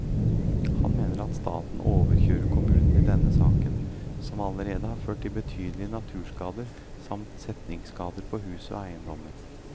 Hun mener at staten overkjører kommunen i denne saken, som allerede har ført til betydelige naturskader samt setningsskader på hus og eiendommer.